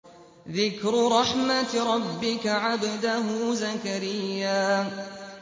ذِكْرُ رَحْمَتِ رَبِّكَ عَبْدَهُ زَكَرِيَّا